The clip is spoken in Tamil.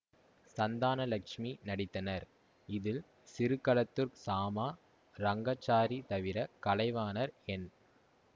சந்தானலட்சுமி நடித்தனர் இதில் சிறுகளத்தூர் சாமா ரங்காச்சாரி தவிர கலைவாணர் என்